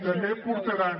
també portaran